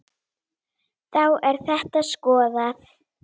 Þá er þetta skoðað.